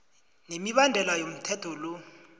nemibandela yomthetho lo